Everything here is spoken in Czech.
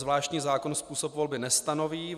Zvláštní zákon způsob volby nestanoví.